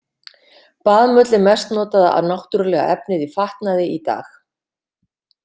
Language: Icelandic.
Baðmull er mest notaða náttúrulega efnið í fatnaði í dag.